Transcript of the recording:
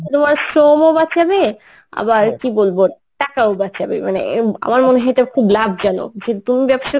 তোমার শ্রমও বাঁচাবে আবার কী বলবো টাকাও বাঁচাবে মানে এম আমার মনে হয় এটা খুব লাভজনক. যে তুমি ব্যবসার